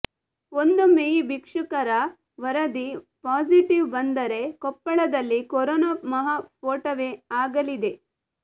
ಒಂದೊಮ್ಮೆ ಈ ಭಿಕ್ಷುಕರ ವರದಿ ಪಾಸಿಟಿವ್ ಬಂದರೆ ಕೊಪ್ಪಳದಲ್ಲಿ ಕೊರೋನಾ ಮಹಾಸ್ಫೋಟವೇ ಆಗಲಿದೆ